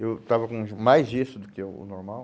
Eu estava com mais gesso do que o o normal.